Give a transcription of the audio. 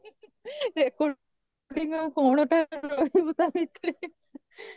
recording କଣଟା କହିବୁ ତା ଭିତରେ